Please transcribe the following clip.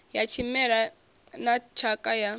ya tshimela na tshakha ya